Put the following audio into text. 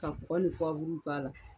Ka kɔkɔ ni k'a la.